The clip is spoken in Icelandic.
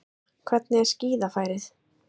Sunna hvernig er skíðafærið?